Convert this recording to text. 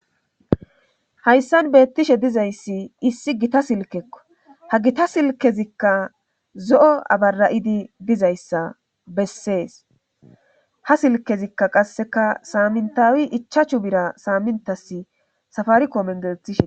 hayssan beettishe dizayssi issi gita silkekko ha gita silkezikka zo7o abara7idi dizayssa bessees ha silkezikka qasseka saamintawi ichaachu bira saamintas safari koomen gelethishe